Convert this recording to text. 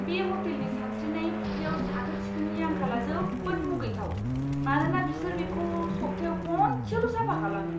बे ह'टेलनि सानस्रिनाय फुख्रियाव साखोन सिखोननि आंखालआ जोबोद मुगैथाव, मानोना बिसोर बेखौ सप्तायाव खनसेल' साफा खालामो!